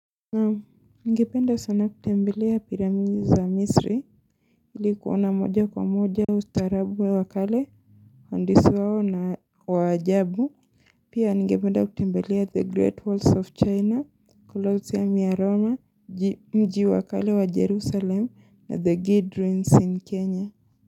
Ningependa sana kutembelea piramidi za misri li kuona moja kwa moja ustarabu wa wakale hondisi wao na wajabu Pia ngependa kutembelea the great walls of china, Colossia miaroma, mji wakale wa jerusalem na the guidelines in kenya.